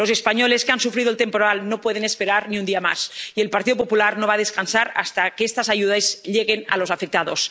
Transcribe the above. Los españoles que han sufrido el temporal no pueden esperar ni un día más, y el Partido Popular no va a descansar hasta que estas ayudas lleguen a los afectados.